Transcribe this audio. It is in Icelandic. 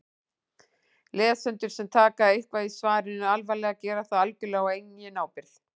Lesendur sem taka eitthvað í svarinu alvarlega gera það algjörlega á eigin ábyrgð.